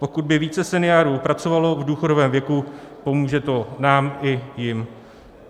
Pokud by více seniorů pracovalo v důchodovém věku, pomůže to nám i jim.